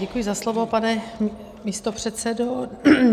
Děkuji za slovo, pane místopředsedo.